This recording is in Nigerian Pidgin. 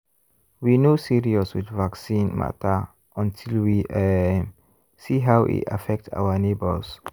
we no serious with vaccine matter until we um see how e affect our neighbors.